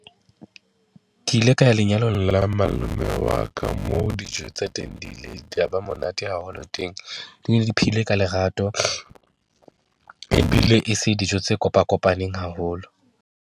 Ke ile ka ya lenyalong la malome wa ka moo dijo tsa teng di ileng di ya ba monate haholo teng. Di ne di phehilwe ka lerato ebile e se dijo tse kopakopaneng haholo.